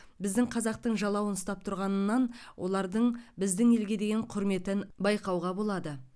біздің қазақтың жалауын ұстап тұрғанынан олардың біздің елге деген құрметін байқауға болады